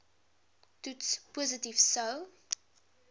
toets positief sou